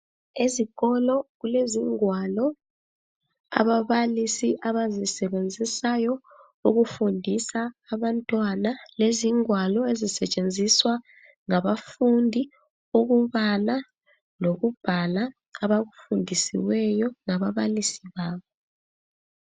Ezikolo kulezingwalo ababalisi abazisebenzisayo ukufundisa abantwana, lezingwalo ezisetshenziswa ngabafundi ukubala lokubhala abakufundisiweyo ngababalisi babo.